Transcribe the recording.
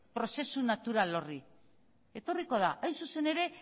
prozesu natural horri etorriko da hain zuzen ere